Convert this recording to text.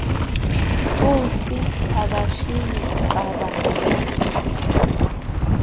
umfi akashiyi qabane